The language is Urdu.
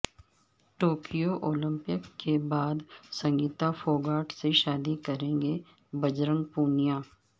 ٹوکیو اولمپک کے بعد سنگیتا فوگاٹ سے شادی کریں گے بجرنگ پونیا